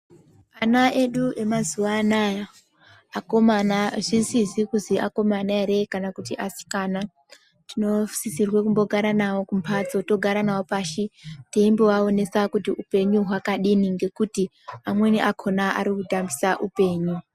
Ana edu emazuva anawa akomana zvisizi kuzi akomana ere kana kuti asikana tinosisirwa kugara nawo pamuzi tombogara nawo pashi teimbovaonesa kuti hupenyu hwavo hwakadini ngekuti amweni akona Ari kutambisa upenyu.